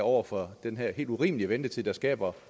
over for den her helt urimelige ventetid der skaber